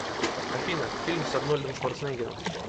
афина фильм с арнольдом шварцнеггером